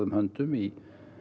höndum í